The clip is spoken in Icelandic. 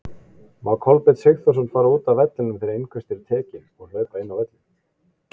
Má Kolbeinn Sigþórsson fara útaf vellinum þegar innköst eru tekinn og hlaupa inn á völlinn?